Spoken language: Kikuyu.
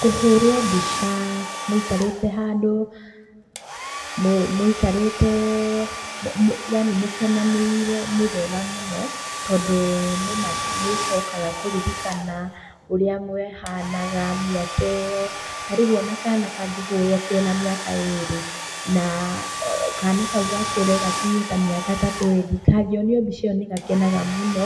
Kũhũrwo mbica mũikarĩte handũ, mũikarĩtee yaani mũkenanĩire nĩ wega mũno, tondũ nĩma nĩũcokaga kũririkana ũrĩa mwehanaga mĩaka ĩyo. Tarĩu ona kana kangĩhũrũo kena mĩaka ĩrĩ, na kana kau gakũre gakinyie ta mĩaka ta twendi, kangĩonio mbica ĩyo nĩgakenaga mũno,